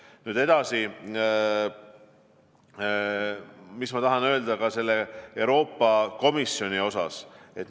Nüüd edasi, mis ma tahan öelda Euroopa Komisjoni kohta.